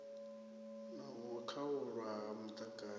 na u khaulwa ha muḓagasi